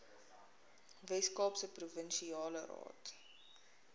weskaapse provinsiale raad